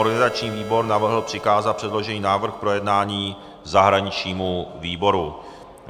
Organizační výbor navrhl přikázat předložený návrh k projednání zahraničnímu výboru.